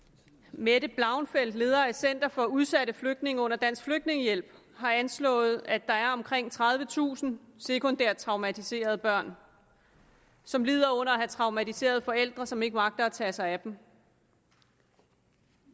mette blauenfeldt leder af center for udsatte flygtninge under dansk flygtningehjælp har anslået at der er omkring tredivetusind sekundært traumatiserede børn som lider under at have traumatiserede forældre som ikke magter at tage sig af dem